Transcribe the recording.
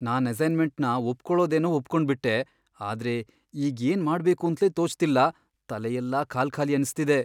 ನಾನ್ ಅಸೈನ್ಮೆಂಟ್ನ ಒಪ್ಕೊಳೋದೇನೋ ಒಪ್ಕೊಂಡ್ಬಿಟ್ಟೆ, ಆದ್ರೆ ಈಗ್ ಏನ್ ಮಾಡ್ಬೇಕೂಂತ್ಲೇ ತೋಚ್ತಿಲ್ಲ, ತಲೆಯೆಲ್ಲ ಖಾಲ್ಖಾಲಿ ಅನ್ಸ್ತಿದೆ.